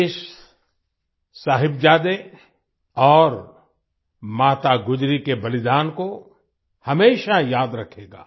देश साहिबजादे और माता गुजरी के बलिदान को हमेशा याद रखेगा